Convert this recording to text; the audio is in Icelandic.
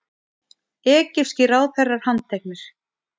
Egypskir ráðherrar handteknir